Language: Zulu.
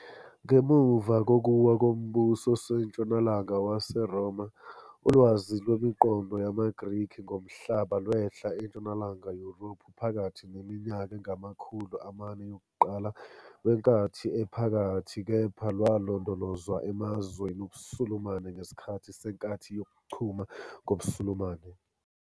Ngemuva kokuwa koMbuso oseNtshonalanga WaseRoma, ulwazi lwemiqondo yamaGrikhi ngomhlaba lwehla eNtshonalanga Yurophu phakathi neminyaka engamakhulu amane yokuqala, eyama-400 kuya kwe-1000 CE, weNkathi Ephakathi kepha lwalondolozwa emazweni obuSulumane ngesikhathi se- nkathi yokuChuma kobuSulumane.